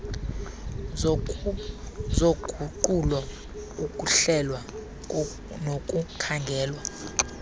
zoguqulo ukuhlelwa nokukhangelwa